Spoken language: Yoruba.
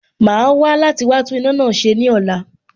Màá wá láti wá tún iná náà ṣe ní ọ̀la